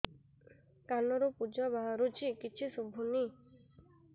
କାନରୁ ପୂଜ ବାହାରୁଛି କିଛି ଶୁଭୁନି